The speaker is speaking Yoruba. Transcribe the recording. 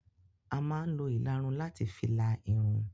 A má ń lo ìlarun láti fi la Irun.